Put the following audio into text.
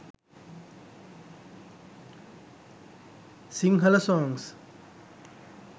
singhala songs